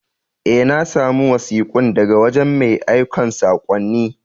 Eh, na samu wasikun daga wajen mai aikan sakonnin.